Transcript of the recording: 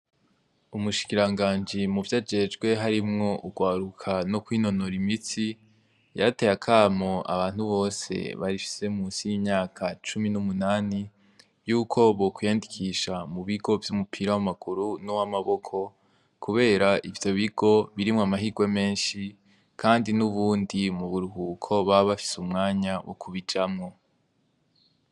Ubushikirangaji muvyajejwe harimwo urwaruka nokwinonora imitsi yarateye akamo abantu bose bafise munsi y'imyaka 18 ko bokwiyandikisha mubigo vyumupira wamaguru nuwamaboko kubera ivyo bigo birimwo amahirwe menshi Kandi nubundi muburuhuko baba bafise umwanya wo kubijamwo.